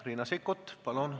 Riina Sikkut, palun!